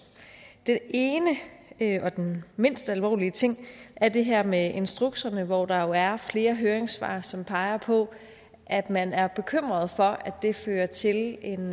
det ene og den mindst alvorlige ting er det her med instrukserne hvor der jo er flere høringssvar som peger på at man er bekymret for at det fører til en